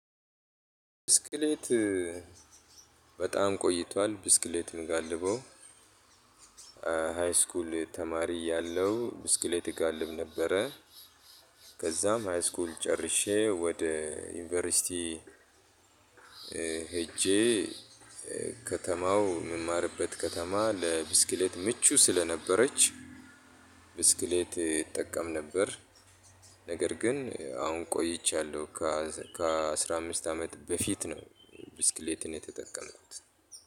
ብስክሌት በጣም ቆይቷል ብስክሌት የምጋልበው። ተማሪ ያለው ብስክሌት እጋልብ ነበረ። ከዛም ሃይስኩል ጨርሼ ወደ ዩኒቨርሲቲ ሄጄ ከተማው የምማርበት ከተማ ለብስክሌት ምቹ ስለነበረች። ብስክሌት እጠቀም ነበር። ነገር ግን አሁን ቆይቻለሁ ከ ከአስራ አምስት አመት በፊት ነው። ብስክሌትን የተጠቀምኩት